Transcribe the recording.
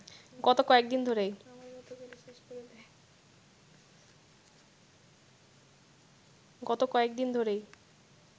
গত কয়েকদিন ধরেই